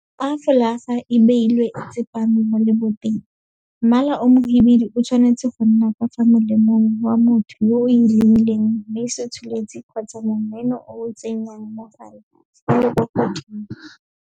Fa fologa e beilwe e tsepame mo leboteng, mmala o mohibidu o tshwanetse go nna ka fa molemeng wa motho yo o e lebileng mme setsholetsi kgotsa momeno o o tsenyang mogala o le kwa godimo.